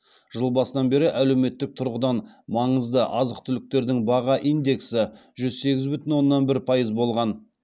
жыл басынан бері әлеуметтік тұрғыдан маңызды азық түліктердің баға индексі жүз сегіз бүтін оннан бір пайыз болған